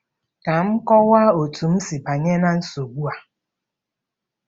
Ka m kọwaa otú m si banye ná nsogbu a.